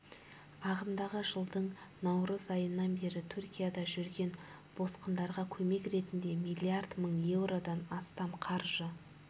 ағымдағы жылдың наурыз айынан бері түркияда жүрген босқындарға көмек ретінде миллиард мың еуродан астам қаржы